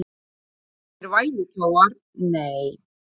Þeir eru engir vælukjóar, nei.